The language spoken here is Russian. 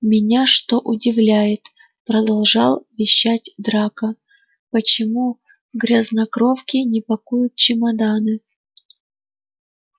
меня что удивляет продолжал вещать драко почему грязнокровки не пакуют чемоданы